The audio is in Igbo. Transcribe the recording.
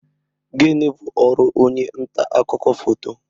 Gini bu ọrụ onye nta akụkọ foto?